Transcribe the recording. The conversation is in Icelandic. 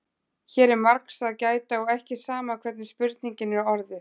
hér er margs að gæta og ekki sama hvernig spurningin er orðuð